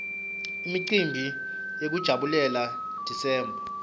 imicimbi yekujabulela desember